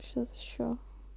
сейчас ещё